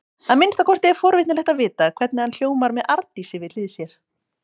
Að minnsta kosti er forvitnilegt að vita hvernig hann hljómar með Arndísi við hlið sér.